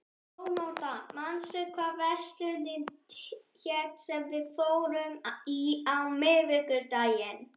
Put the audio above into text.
Sónata, manstu hvað verslunin hét sem við fórum í á miðvikudaginn?